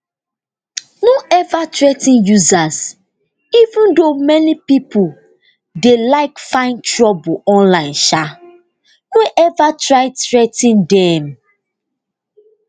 no ever threa ten users even though many pipo dey like find trouble online um no ever try threa ten dem